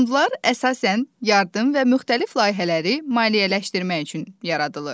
Fondlar əsasən yardım və müxtəlif layihələri maliyyələşdirmək üçün yaradılır.